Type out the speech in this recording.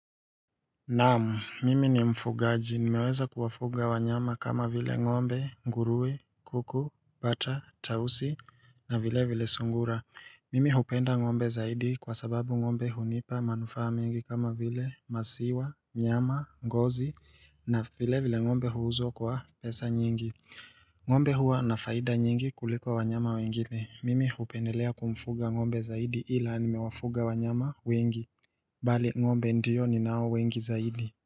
Namu, mimi ni mfugaji. Nimeweza kuwafuga wanyama kama vile ngombe, ngurue, kuku, bata, tausi, na vile vile sungura. Mimi hupenda ng'ombe zaidi kwa sababu ng'ombe hunipa manufaa mingi kama vile maziwa, nyama, ngozi, na vile vile ngombe huuzwa kwa pesa nyingi. Ng'ombe huwa na faida nyingi kuliko wanyama wengine. Mimi hupendelea kumfuga ng'ombe zaidi ila nimewafuga wanyama wengi. Bali ng'ombe ndio ninao wengi zaidi.